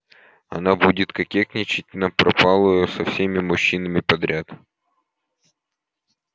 она будет кокетничать напропалую со всеми мужчинами подряд